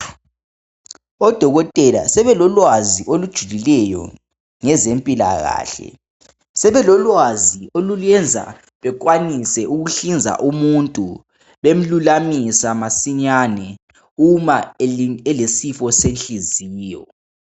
Odokotela sebelolwazi olujulileyo ngezempilakahle, sebelolwazi olubayenza bekwanise ukuhlinza umuntu bemlulamisa masinyane uma elesifo senhlinziyo.